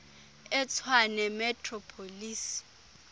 etshwane metro police